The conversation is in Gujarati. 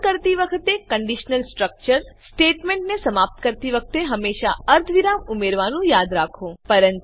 કોડ કરતી વખતે કંડીશનલ સ્ટ્રક્ચર160 સ્ટેટમેંટને સમાપ્ત કરતી વખતે હમેશા અર્ધવિરામ ઉમેરવાનું યાદ રાખો